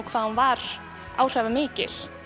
hvað hún var áhrifamikil